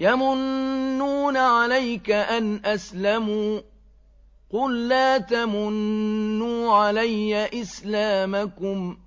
يَمُنُّونَ عَلَيْكَ أَنْ أَسْلَمُوا ۖ قُل لَّا تَمُنُّوا عَلَيَّ إِسْلَامَكُم ۖ